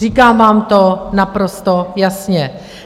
Říkám vám to naprosto jasně.